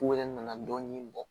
U yɛrɛ nana dɔɔnin bɔ